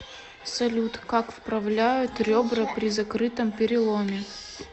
салют как вправляют ребра при закрытом переломе